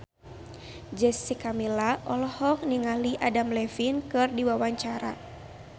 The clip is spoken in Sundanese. Jessica Milla olohok ningali Adam Levine keur diwawancara